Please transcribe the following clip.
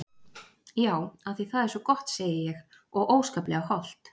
Já af því það er svo gott segi ég og óskaplega hollt.